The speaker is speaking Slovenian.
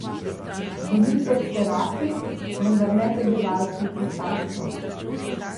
Bili so serafi, vendar ne prebivalci Cesarstva.